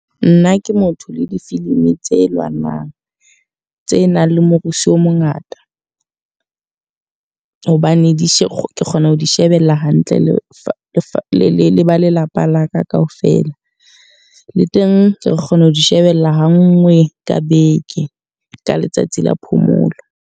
Nna ke motho le difilimi tse lwanang, tse nang le morusu o mongata. Hobane di kgona ho di shebella hantle le leba lelapa laka ka ofela. Le teng re kgona ho di shebella ha nngwe ka beke, ka letsatsi la phomolo.